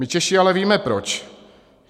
My Češi ale víme proč.